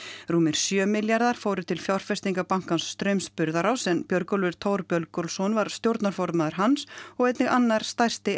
rúmir sjö milljarðar fóru til fjárfestingabankans Straums Burðaráss en Björgólfur Thor Björgólfsson var stjórnarformaður hans og einnig annar stærsti